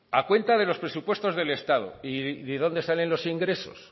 a cuenta de los presupuesto del estado y de dónde salen los ingresos